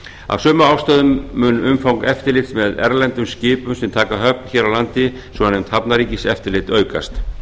af sömu ástæðum mun umfang eftirlits með erlendum skipum sem hafa höfn hér á landi svonefnd hafnarríkiseftirlit aukast